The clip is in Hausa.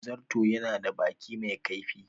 Zarto ya na da baki mai kaifi